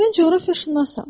Mən coğrafiyaçıyam.